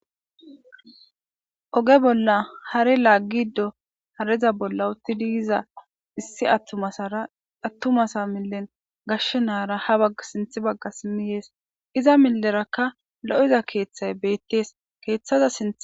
Oge bolla hari laaggiddo hareza bolla uttidiiza issi attumasara attumasa millen gashshe naara ha bagga sinth bagga simmiyees iza milerakka lo''iza keeththay beettees keeththada sint.